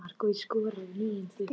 Hálfdán, spilaðu lagið „Ekki“.